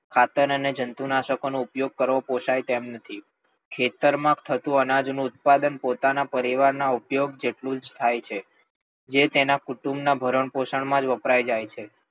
ખાતર અને જંતુનાશક નો ઉપયોગ પોસાય તેમ નથી. ખેતર માં થતું અનાજ નું ઉત્પાદન પોતાના પરિવાર ઉપયોગ જેટલું જ થાય છે. જે તેના કુટુંબ ના ભરણ પોષણ માં વપરાય જાય છે.